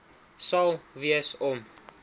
sal wees om